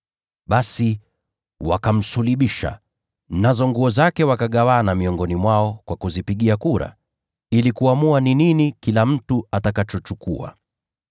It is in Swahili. Basi wakamsulubisha, nazo nguo zake wakagawana miongoni mwao kwa kuzipigia kura ili kuamua ni gani kila mtu ataichukua.